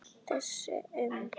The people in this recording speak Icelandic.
Þessar um